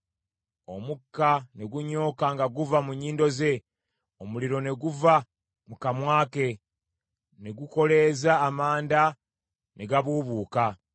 Omukka ne gunyooka nga guva mu nnyindo ze. Omuliro ne guva mu kamwa ke, ne gukoleeza amanda ne gabuubuuka.